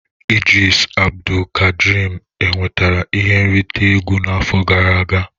Idris Abdulkadrim e nwetara ihe nrite egwu n'afọ gara aga?